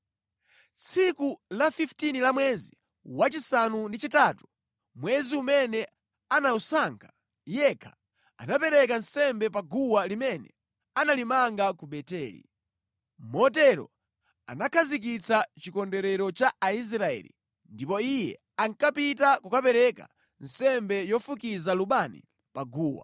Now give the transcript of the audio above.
Tsiku la 15 la mwezi wachisanu ndi chitatu, mwezi umene anawusankha yekha, anapereka nsembe pa guwa limene analimanga ku Beteli. Motero anakhazikitsa chikondwerero cha Aisraeli ndipo iye ankapita kukapereka nsembe yofukiza lubani pa guwa.